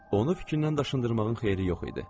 Onu fikrindən daşındırmağın xeyri yox idi.